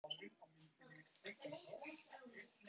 Hann yrti ekki á mig.